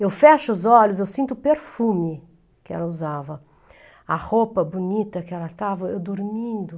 Eu fecho os olhos, eu sinto o perfume que ela usava, a roupa bonita que ela estava, eu dormindo.